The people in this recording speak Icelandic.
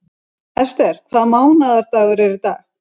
Ester, hvaða mánaðardagur er í dag?